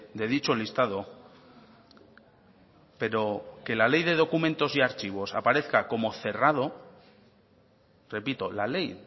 de dicho listado pero que la ley de documentos y archivos aparezca como cerrado repito la ley